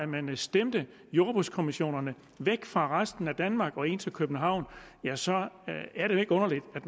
man stemte jordbrugskommissionerne væk fra resten af danmark og ind til københavn at så er det jo ikke underligt at